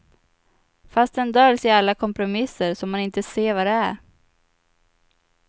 Fast den döljs i alla kompromisser, så man inte ser vad det är.